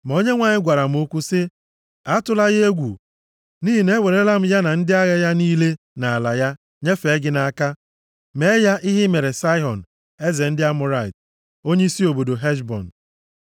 Ma Onyenwe anyị gwara m okwu, sị, “Atụla ya egwu, nʼihi na ewerela m ya na ndị agha ya niile, na ala ya, nyefee gị nʼaka. Mee ya ihe i mere Saịhọn eze ndị Amọrait, onyeisi obodo Heshbọn.”